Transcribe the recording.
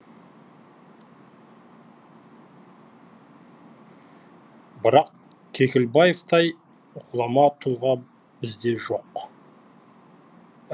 бірақ кекілбаевтай ғұлама тұлға бізде жоқ